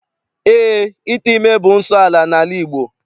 Eé, ite ime bụ nsọala n'ala Igbo.